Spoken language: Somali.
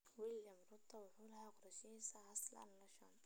William Ruto wuxuu lahaa qorshihiisa "Hustler Nation".